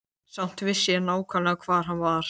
Samt vissi ég nákvæmlega hvar hann var.